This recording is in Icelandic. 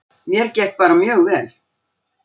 Mér gekk bara mjög vel.